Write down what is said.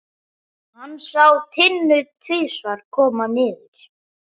Hann sá Tinnu tvisvar koma niður.